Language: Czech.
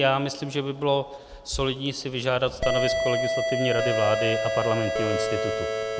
Já myslím, že by bylo solidní si vyžádat stanovisko Legislativní rady vlády a Parlamentního institutu.